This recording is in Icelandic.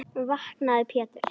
Vaknaðu Pétur.